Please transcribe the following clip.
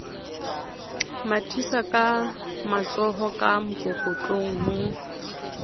mathisaka matshoho ka mokokotlong ho